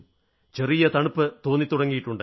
ചെറിയ തണുപ്പുതോന്നിത്തുടങ്ങിയിട്ടുണ്ട്